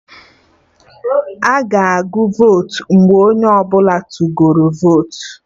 Aga agụ votu mgbe onye ọbụla tụgoro votu